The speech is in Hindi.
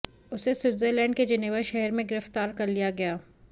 उसे स्विटज़रलैंड के जेनेवा शहर में गिरफ़्तार कर लिया गया